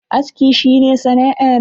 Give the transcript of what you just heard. Aski shi ne sana'a na.